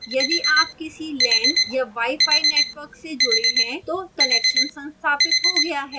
यदि आप किसी lan या wifi network से जुड़े हैं तो connection स्थापित हो गया है